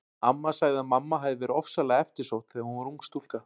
Amma segir að mamma hafi verið ofsalega eftirsótt þegar hún var ung stúlka.